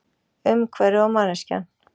Umhverfið og manneskjan.